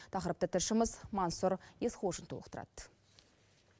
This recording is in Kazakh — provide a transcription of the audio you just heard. тақырыпты тілшіміз мансұр есқожин толықтырады